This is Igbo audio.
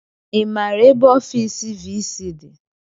I maara ebe ofiisi viisii dị?